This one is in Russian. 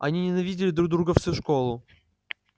они ненавидели друг друга всю школу